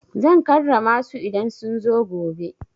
Zan karrama su idan sun zo gobe.